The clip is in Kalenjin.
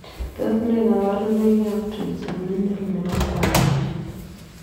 Tos nee kabarunoik ap Trigeminal nepo kwangeet?